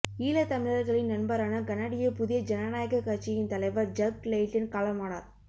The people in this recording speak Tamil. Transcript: ஈழத்தமிழர்களின் நண்பரான கனடிய புதிய ஜனநாயகக் கட்சியின் தலைவர் ஜக் லெய்டன் காலமானர்